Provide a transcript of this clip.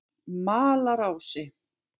Malarási